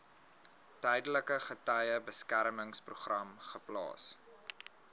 tydelike getuiebeskermingsprogram geplaas